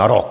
Na rok!